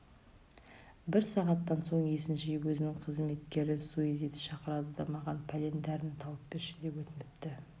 бір сағаттан соң есін жиып өзінің қызметкері сузиді шақырады да маған пәлен дәріні тауып берші деп өтініпті